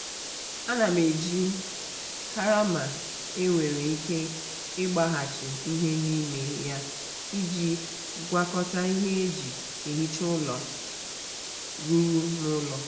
ana m eji karama e nwere ike ịgbaghachi ihe n'ime ya iji gwakọta ihe e ji ehicha ụlọ a rụrụ n'ụlọ.